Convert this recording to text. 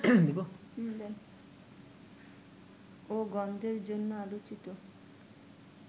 ও গন্ধের জন্য আলোচিত